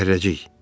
Zərrəcik.